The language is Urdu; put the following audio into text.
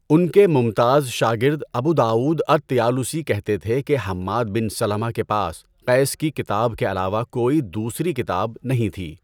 ان کے ممتاز شاگرد ابو داؤد الطیالُسی کہتے تھے کہ حَمّاد بن سَلَمَہ کے پاس قیس کی کتاب کےعلاوہ کوئی دوسری کتاب نہیں تھی۔